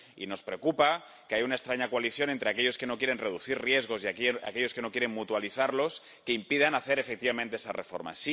Y nos preocupa que haya una extraña coalición entre aquellos que no quieren reducir riesgos y aquellos que no quieren mutualizarlos que impida hacer efectivamente esa reforma.